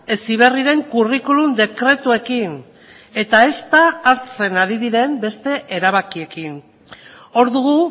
heziberriren curriculum dekretuekin eta ezta hartzen ari diren beste erabakiekin hor dugu